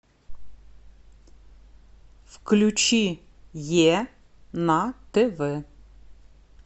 включи е на тв